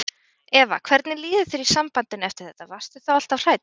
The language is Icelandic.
Eva: Hvernig líður þér í sambandinu eftir þetta, varstu þá alltaf hrædd?